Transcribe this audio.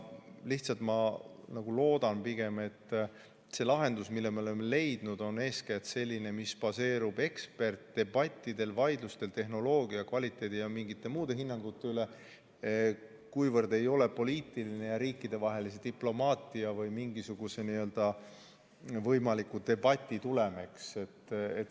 Lihtsalt ma loodan pigem, et see lahendus, mille me oleme leidnud, on eeskätt selline, mis baseerub eksperdidebattidel, vaidlustel tehnoloogia kvaliteedi ja mingite muude hinnangute üle, ega ole niivõrd poliitiline ja riikidevahelise diplomaatia või mingisuguse võimaliku debati tulem.